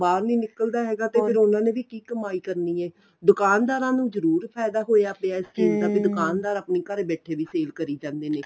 ਬਾਹਰ ਨੀ ਨਿਕਲਦਾ ਹੈਗਾ ਤੇ ਫੇਰ ਉਨ੍ਹਾਂ ਨੇ ਵੀ ਕੀ ਕਮਾਈ ਕਰਨੀ ਏ ਦੁਕਾਨਦਾਰਾ ਨੂੰ ਜਰੂਰ ਫਾਇਦਾ ਇਸ ਚੀਜ਼ ਦਾ ਦੁਕਾਨਦਾਰ ਆਪਣਾ ਘਰੇ ਬੈਠੇ ਵੀ save ਕਰੀ ਜਾਂਦੇ ਨੇ